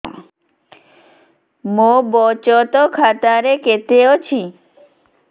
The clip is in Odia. ମୋ ବଚତ ଖାତା ରେ କେତେ ଅଛି